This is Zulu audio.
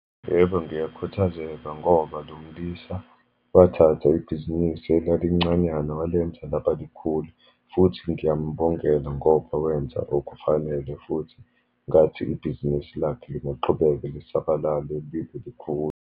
Yebo, ngiyakhuthazeka ngoba lomlisa wathatha ibhizinisi elalincanyana walenza laba likhulu, futhi ngiyambongela ngoba wenza okufanele, futhi ngathi ibhizinisi lakhe lingaqhubeka lisabalale libe likhulu.